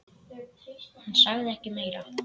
Hann sagði ekki meira.